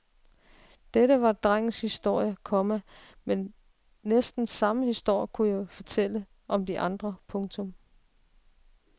Dette var drengens historie, komma men næsten samme historie kunne jeg fortælle om de andre. punktum